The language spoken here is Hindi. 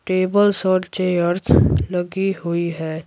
टेबल चेयर्स लगी हुई है।